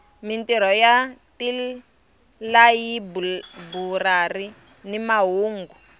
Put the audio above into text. mintirho ya tilayiburari ni mahungu